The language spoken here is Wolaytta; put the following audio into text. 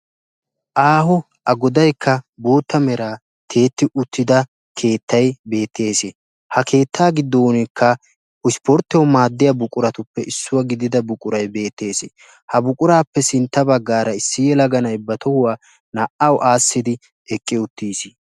Aaho a goddayikka bootta meraa tiyetti uttidda buquray beetes. Hagaa matan issi yelagay tohuwa aassiddi hemettes.